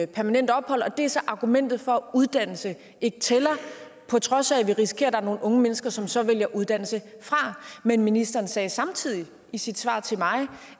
permanent ophold det er så argumentet for at uddannelse ikke tæller på trods af at vi risikerer at der er nogle unge mennesker som så vælger uddannelse fra men ministeren sagde samtidig i sit svar til mig